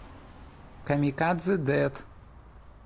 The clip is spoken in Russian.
камикадзе дэд